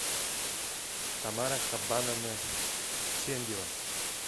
тамара хабановна чендева